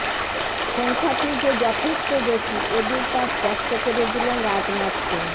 সংখ্যাটি যে যথেষ্ট বেশি এদিন তা স্পষ্ট করে দিলেন রাজনাথ সিং